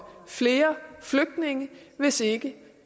flere flygtninge hvis ikke